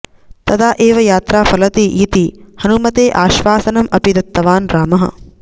तदा एव यात्रा फलति इति हनुमते आश्वासनम् अपि दत्तवान् रामः